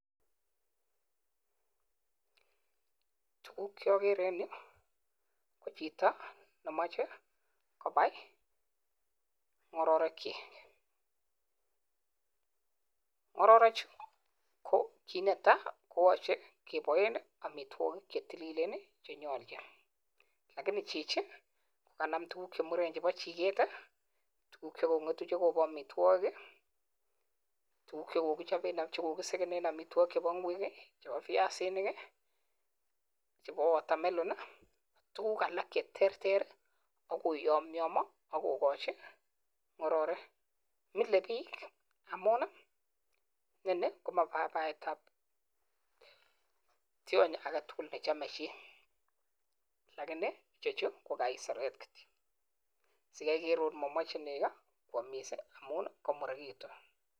Tuguk che ogere en yu ko chito nemoche kobai ng'ororekchik. Ng'ororechu ko kit netai, koyoche keboen amitwogik che tililen che nyoljin. Lakini chichi koganam tuguk che muren chebo chiget ii, tuguk che kong'etu che koboamitwogik, tuguk che kogisegenen amitwogik chebo ng'wek ii, chebo biasinik, chebo watermelon, tuguk alak che terter ak koyomyomyo agokochi ng'ororek. Milebiik amun ineni komabaetab tyon age tugul ne chome chi. Lakini icheju ko kaiseret kityo. Sikai igere agot komomoche nego koamiss ii ko amun komurekitun.